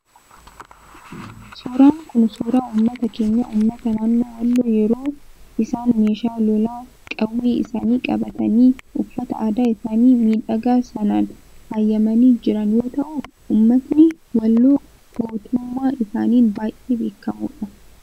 Suuraan Kun, suuraa uummata keenya, uummata naannoo walloo yeroo isaan meeshaa lolaa qawwee isaanii qabatanii, uffata aadaa isaanii miidhagaa sanaan faayamanii jiran yoo ta'u, uummatni walloo gootummaa isaaniin baayyee beekamoodha.